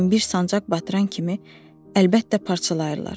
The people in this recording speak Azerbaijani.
Lakin bir sancaq batıran kimi əlbəttə parçalayırlar.